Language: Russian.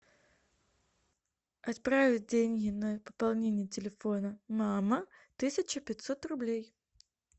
отправить деньги на пополнение телефона мама тысяча пятьсот рублей